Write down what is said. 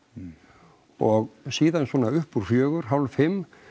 og síðan svona uppúr fjögur hálf fimm